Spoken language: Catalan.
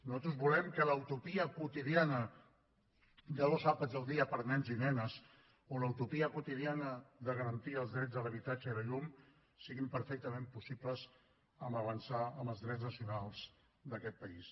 nosaltres volem que la utopia quotidiana de dos àpats el dia per a nens i nenes o la utopia quotidiana de garantir els drets a l’habitatge i la llum siguin perfectament possibles amb avançar en els drets nacionals d’aquest país